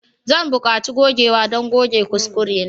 Zan buƙaci gogewa don goge kuskurena.